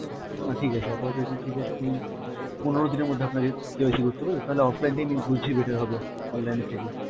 না ঠিক আছে আপাতত এটাই ঠিক আছে আমি, পনেরো দিনের মধ্যে আপনার KYC করতে হবে তো তাহলে offline টাই বুঝছি better হবে online এর থেকে।